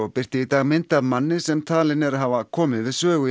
birti í dag mynd af manni sem talinn er hafa komið við sögu